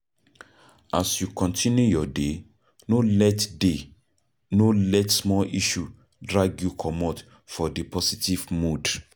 As you continue your day no let day no let small issue drag you comot for di positve mood